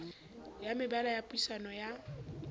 ya mebala ya puisano ya